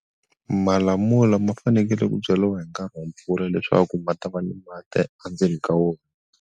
Malamula ma fanekele ku byaliwa hi nkarhi wa mpfula leswaku ma ta va ni mati a ndzeni ka wona.